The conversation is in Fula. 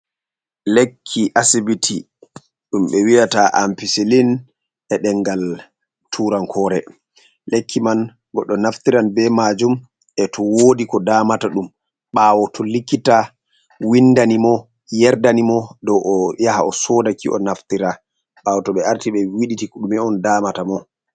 Lekki asibiti ɗum ɓe wi'ata Ampisilin e'ɗengal turankore. Lekki man goɗɗo naftiran be majum e'to wodi ko damata ɗum ɓawo to likkita windanimo yerdani mo dou oyaha osodaki o'naftira ɓawo to ɓe arti ɓe wiɗiti ɗume on damata mo.